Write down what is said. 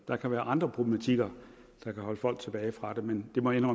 der kan være andre problematikker der kan holde folk tilbage fra det men det må jeg